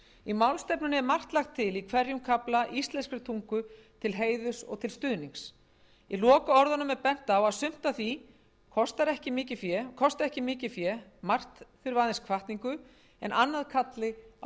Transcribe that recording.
í málstefnunni er margt lagt til í hverjum kafla íslenskri tungu til stuðnings í lokaorðum er bent á að sumt af því kosti ekki mikið fé margt aðeins hvatningu annað kalli á viðhorfsbreytingar sumt